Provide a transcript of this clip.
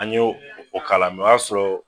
An ye o kalan o y'a sɔrɔ